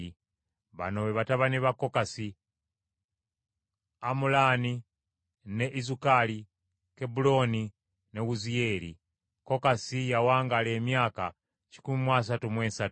Bano be batabani ba Kokasi: Amulaani ne Izukali, Kebbulooni ne Wuziyeeri. Kokasi yawangaala emyaka kikumi mu asatu mu esatu.